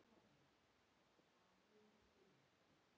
Ekki Alan Alda, heldur hinn